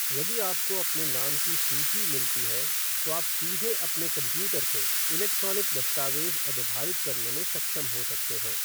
यदि आपको अपने नाम की सूची मिलती है, तो आप सीधे अपने कंप्यूटर से इलेक्ट्रॉनिक दस्तावेज़ अधोभारित करने में सक्षम हो सकते हैं।